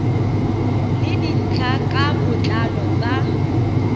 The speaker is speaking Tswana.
le dintlha ka botlalo tsa